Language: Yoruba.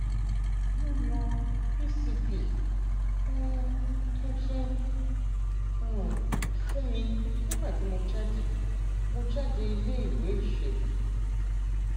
wọn yan pcp um tuntun um fún mi nígbà tí mo jáde mo jáde iléèwé ìṣègùn